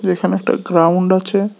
এখানে একটা গ্রাউন্ড আছে।